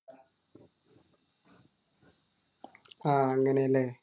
ആഹ് അങ്ങനെ അല്ലേ?